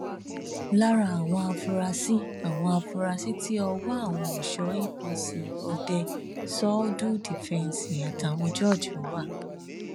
lára àwọn afurasí àwọn afurasí tí ọwọ àwọn ẹṣọ apc òde söldù dífẹǹsì àtàwọn jørge wà